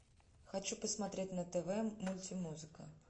хочу посмотреть на тв мультимузыка